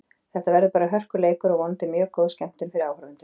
Þetta verður bara hörkuleikur og vonandi mjög góð skemmtun fyrir áhorfendur.